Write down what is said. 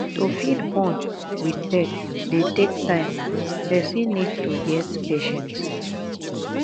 to fit bond with pet dey take time person need to get patience